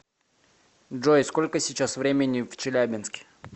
джой сколько сейчас времени в челябинске